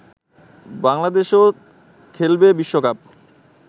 বাংলাদেশও খেলবে বিশ্বকাপ